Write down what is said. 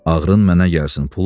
Ağrın mənə gəlsin.